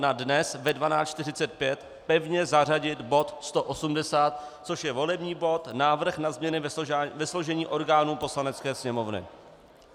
Na dnes ve 12.45 pevně zařadit bod 180, což je volební bod - Návrh na změny ve složení orgánů Poslanecké sněmovny.